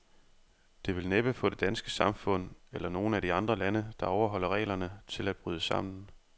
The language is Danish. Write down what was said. Det vil næppe få det danske samfund, eller nogen af de andre lande, der overholder reglerne, til at bryde sammen.